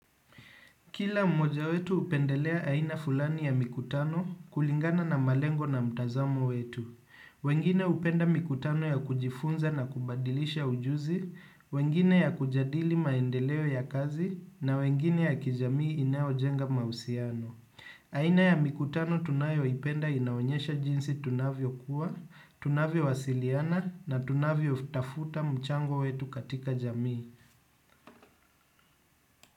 Kila mmoja wetu hupendelea aina fulani ya mikutano kulingana na malengo na mtazamo wetu. Wengine hupenda mikutano ya kujifunza na kubadilisha ujuzi, wengine ya kujadili maendeleo ya kazi na wengine ya kijamii inao jenga mahusiano. Aina ya mikutano tunayoipenda inaonyesha jinsi tunavyo kuwa, tunavyo wasiliana na tunavyo tafuta mchango wetu katika jamii.